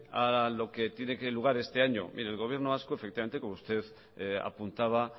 a lo que tiene lugar este año mire el gobierno vasco efectivamente como usted apuntaba